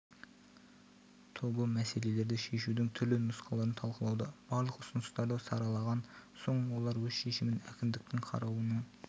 тобы мәселелерді шешудің түрлі нұсқаларын талқылауда барлық ұсыныстарды саралаған соң олар өз шешімін әкімдіктің қарауына